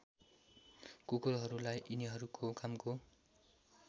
कुकुरहरूलाई यिनीहरूको कामको